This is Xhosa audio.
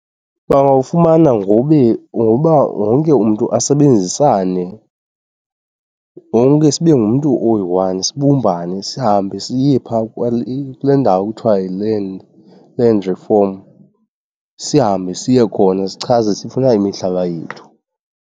Bangawufumana ngoba wonke umntu asebenzisane, wonke sibe ngumntu oyi-one sibumbane, sihambe siye phaa kule ndawo kuthiwa yiLand, Land Reform. Sihambe siye khona sichaze sifuna imihlaba yethu.